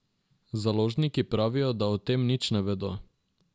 Založniki pravijo, da o tem nič ne vedo.